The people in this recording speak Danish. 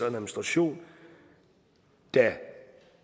administration der